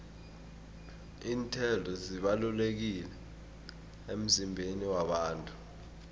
iinthelo zibalulekile emizimbeni yabantu